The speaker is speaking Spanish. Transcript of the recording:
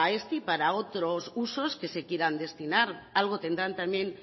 este y para otros usos que se quieran destinar algo tendrán también